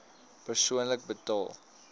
persoonlik betaal